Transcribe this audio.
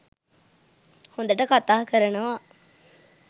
හොඳට කතා කරනවා